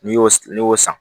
N'i y'o n'i y'o san